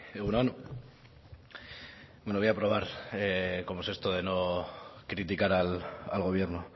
egun on bueno voy a probar cómo es esto de no criticar al gobierno